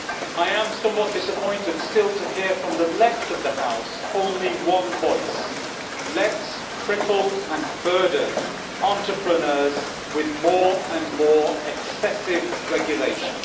I am somewhat disappointed still to hear from the left of the House only one voice Let us cripple and burden entrepreneurs with more and more excessive regulation'.